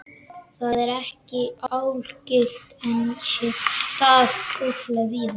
Þetta er ekki algilt en á sér stað ótrúlega víða.